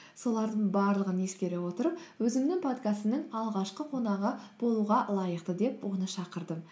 солардың барлығын ескере отырып өзімнің подкастымның алғашқы қонағы болуға лайықты деп оны шақырдым